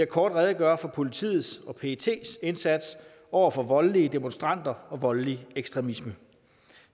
kort redegøre for politiets og pets indsats over for voldelige demonstranter og voldelig ekstremisme